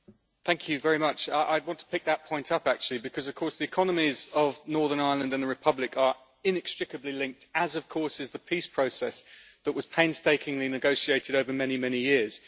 Mr President, I want to pick that point up actually because of course the economies of Northern Ireland and the Republic are inextricably linked, as of course is the peace process that was painstakingly negotiated over many, many years.